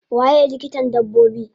Waye likitan dabbobi?